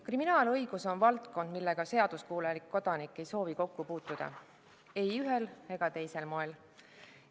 Kriminaalõigus on valdkond, millega seaduskuulelik kodanik ei soovi kokku puutuda ei ühel ega teisel moel.